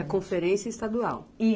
Conferência estadual?